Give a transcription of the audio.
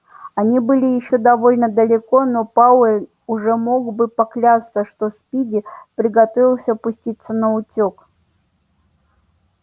они были ещё довольно далеко но пауэлл уже мог бы поклясться что спиди приготовился пуститься наутёк